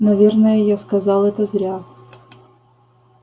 наверное я сказал это зря